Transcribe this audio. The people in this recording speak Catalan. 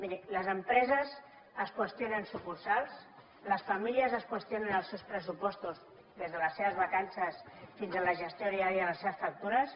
miri les empreses es qüestionen sucursals les famílies es qüestionen els seus pressupostos des de les seves vacances fins a la gestió diària de les seves factures